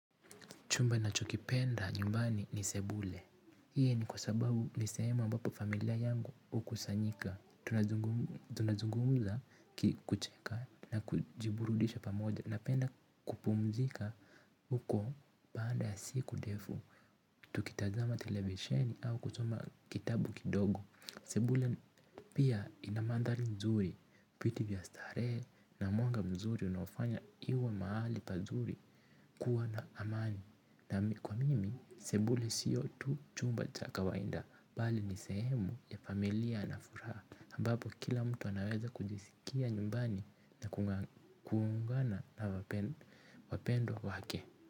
Chumba ninachokipenda nyumbani ni sebule. Hii ni kwa sababu ni sehemu ambapo familia yangu hukusanyika. Tunazungumza kucheka na kujiburudisha pamoja. Napenda kupumzika huko baada ya siku ndefu. Tukitazama televisheni au kusoma kitabu kidogo. Sebule pia ina mandhari mzuri. Viti vya starehe na mwanga mzuri unaofanya iwe mahali pazuri kuwa na amani. Na kwa mimi, sebule sio tu chumba cha kawaida, bali ni sehemu ya familia na furaha, ambapo kila mtu anaweza kujisikia nyumbani na kuungana na wapendwa wake.